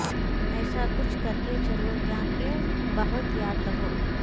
ایسا کچھ کرکے چلو یاں کہ بہت یاد رہو